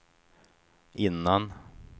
innan